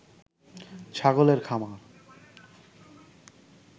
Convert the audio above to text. ছাগলের খামার